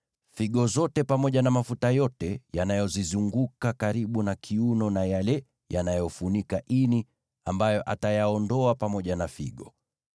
figo zote pamoja na mafuta yote yanayozizunguka karibu na kiuno na yale yanayofunika ini, ambayo atayaondoa pamoja na figo.